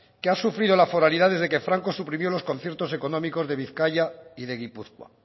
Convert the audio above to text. que ha sufrido la foralidad desde que franco suprimió los conciertos económicos de bizkaia y de gipuzkoa